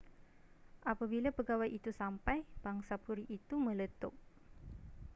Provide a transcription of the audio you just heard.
apabila pegawai itu sampai pangsapuri itu meletup